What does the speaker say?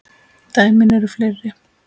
Dæmin eru fleiri.